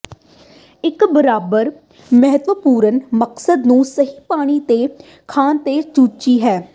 ਇੱਕ ਬਰਾਬਰ ਮਹੱਤਵਪੂਰਨ ਮਕਸਦ ਨੂੰ ਸਹੀ ਪਾਣੀ ਅਤੇ ਖਾਣ ਦੇ ਚੂਚੇ ਹੈ